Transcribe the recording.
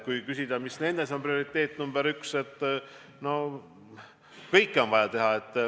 Kui küsida, mis on seejuures prioriteet nr 1, siis – no kõike on vaja teha.